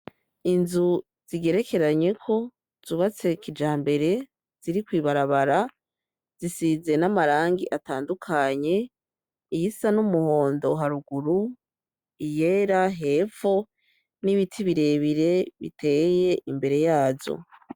Inzu zigerekeranyeko zubatse kijambere ziri kw'ibarabara zisize n'amarangi atandukanye :iyisa n'umuhondo haruguru, iyera hepho n'ibiti birebire biteye imbere yazo.